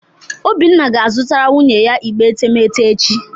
Obinna ga-azụtara nwunye ya igbe etemeete echi